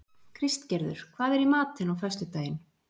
Kristgerður, hvað er í matinn á föstudaginn?